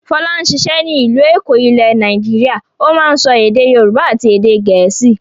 Fọlá ń ṣiṣẹ́ ní ìlú Èkó ilẹ̀ Nàìjíríà, ó máa ń sọ èdè Yorùbá àti èdè Gẹ̀ẹ́sì.